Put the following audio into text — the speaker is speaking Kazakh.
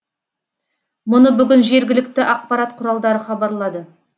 мұны бүгін жергілікті ақпарат құралдары хабарлады